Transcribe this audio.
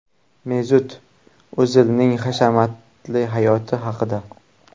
Mesut O‘zilning hashamatli hayoti haqida.